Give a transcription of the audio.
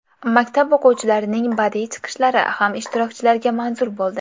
Maktab o‘quvchilarining badiiy chiqishlari ham ishtirokchilarga manzur bo‘ldi.